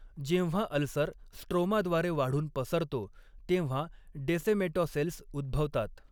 जेव्हा अल्सर स्ट्रोमाद्वारे वाढून पसरतो तेव्हा डेसेमेटॉसेल्स उद्भवतात.